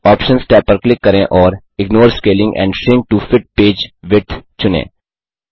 options tab पर click करें और ignore scaling and shrink to fit page width चुनें